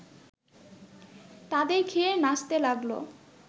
তাদের ঘিরে নাচতে লাগল